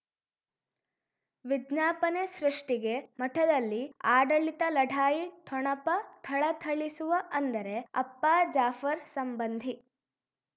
ವಿಜ್ಞಾಪನೆ ಸೃಷ್ಟಿಗೆ ಮಠದಲ್ಲಿ ಆಡಳಿತ ಲಢಾಯಿ ಠೊಣಪ ಥಳಥಳಿಸುವ ಅಂದರೆ ಅಪ್ಪ ಜಾಫರ್ ಸಂಬಂಧಿ